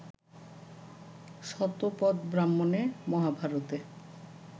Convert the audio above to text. শতপথব্রাহ্মণে, মহাভারতে